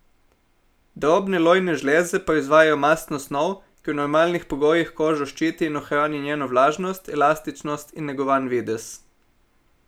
Drobne lojne žleze proizvajajo mastno snov, ki v normalnih pogojih kožo ščiti in ohrani njeno vlažnost, elastičnost in negovan videz.